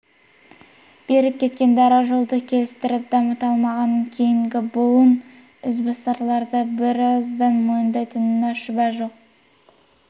беріп кеткен дара жолды келістіріп дамыта алмағанын кейінгі буын ізбасарлары да бірауыздан мойындайтынына шүбә жоқ